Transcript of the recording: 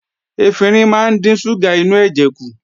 Efinrin máa ń dín ṣúgà inú ẹ̀jẹ̀ kù